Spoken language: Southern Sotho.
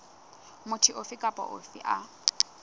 motho ofe kapa ofe a